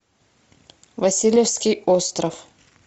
васильевский остров